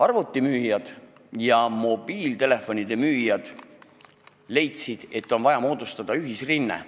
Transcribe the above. Arvutimüüjad ja mobiiltelefonide müüjad leidsid, et on vaja moodustada ühisrinne.